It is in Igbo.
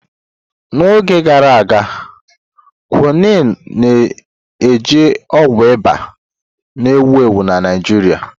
N'oge gara aga, Quinine na-eji ọgwụ ịba na-ewu ewu na Naịjirịa.